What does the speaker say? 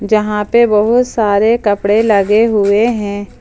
जहां पे बहुत सारे कपड़े लगे हुए हैं।